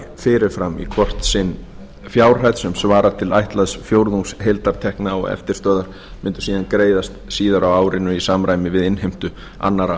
fyrir fram í hvort sinn fjárhæð sem svarar til áætlaðs fjórðungs heildartekna og eftirstöðvar mundu síðan greiðast síðar á árinu í samræmi við innheimtu annarra